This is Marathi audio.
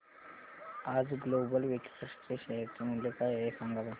आज ग्लोबल वेक्ट्रा चे शेअर मूल्य काय आहे सांगा बरं